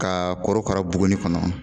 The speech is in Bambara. Kaa korokara bugunni kɔnɔ